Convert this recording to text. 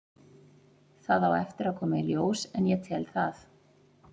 Það á eftir að koma í ljós en ég tel það.